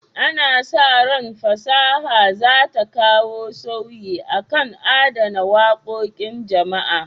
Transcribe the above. Ana sa ran fasaha za ta kawo sauyi kan adana wakokin jama'a.